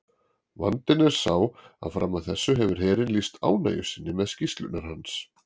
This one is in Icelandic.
Vandinn er sá að fram að þessu hefur herinn lýst ánægju sinni með skýrslurnar hans.